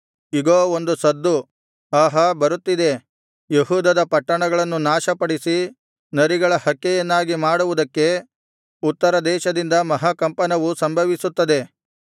ಇಗೋ ಒಂದು ಸದ್ದು ಆಹಾ ಬರುತ್ತಿದೆ ಯೆಹೂದದ ಪಟ್ಟಣಗಳನ್ನು ನಾಶಪಡಿಸಿ ನರಿಗಳ ಹಕ್ಕೆಯನ್ನಾಗಿ ಮಾಡುವುದಕ್ಕೆ ಉತ್ತರದೇಶದಿಂದ ಮಹಾಕಂಪನವು ಸಂಭವಿಸುತ್ತದೆ